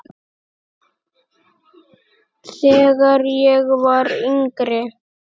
Þegar ég var yngri.